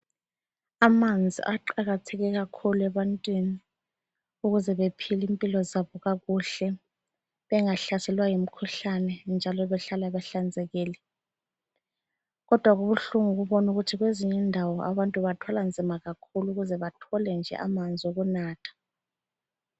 Amanzi aqakatheke kakhulu ebantwini ukuze bephile impilo zabo kakuhle bengahlaselwa yimikhuhlane njalo behlale behlanzekile. Kodwa kubuhlungu kakhulu ukubona ukuthi kwezinye indawo abantu bathwala nzima kakhulu ukuze bathole nje amanzi okunatha.